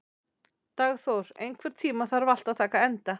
Dagþór, einhvern tímann þarf allt að taka enda.